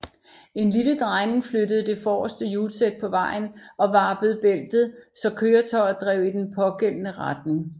En lille drejning flyttede det forreste hjulsæt på vejen og varpede bæltet så køretøjet drev i den pågældende retning